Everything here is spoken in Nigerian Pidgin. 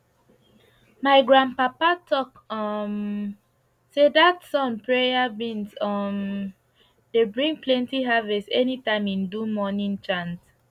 my grandpapa talk um say dat sun prayer beans um dey bring plenti harvest anytime im do morning chant